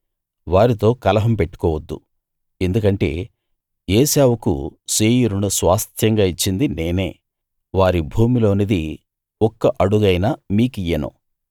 వారితో కలహం పెట్టుకోవద్దు ఎందుకంటే ఏశావుకు శేయీరును స్వాస్థ్యంగా ఇచ్చింది నేనే వారి భూమిలోనిది ఒక్క అడుగైనా మీకియ్యను